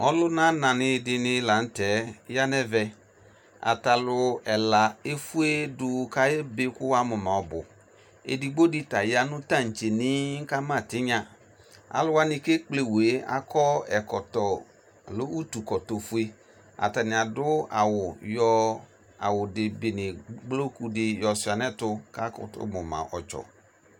Ɔlʋna nanɩ dɩnɩ lanʋtɛ yanʋ ɛvɛ ata alʋ ɛla efuedʋ kʋ ayebe kʋ wuamuma ɔbʋ edigbo dɩ ta yanʋ tantdenɩɩ kʋ ama tɩnya alʋ kʋ ekpletu wue akɔ utu ɛkɔtɔ fue atanɩ adʋ awʋ yɔ ebene gbolokʋdɩ yɔ suia nʋ ɛtʋ kakutu muma ɔtsɔ